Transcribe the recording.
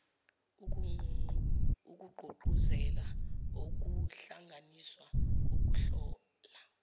okugqugquzela ukuhlanganiswa kokuhlola